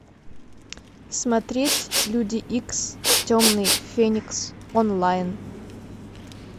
смотреть люди икс темный феникс онлайн